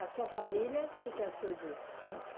A sua família, o que que achou disso?